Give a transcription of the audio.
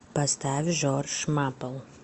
поставь джордж мапл